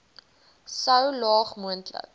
so laag moontlik